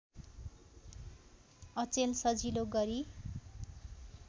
अचेल सजिलो गरी